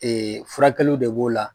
furakɛliw de b'o la